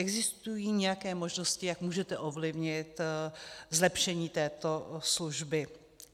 Existují nějaké možnosti, jak můžete ovlivnit zlepšení této služby?